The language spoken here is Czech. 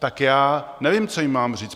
Tak já nevím, co jim mám říct.